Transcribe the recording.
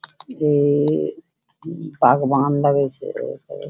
ए आग वाहन लागै छे।